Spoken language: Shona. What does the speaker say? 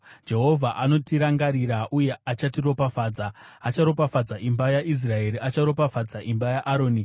Jehovha anotirangarira uye achatiropafadza: Acharopafadza imba yaIsraeri, acharopafadza imba yaAroni,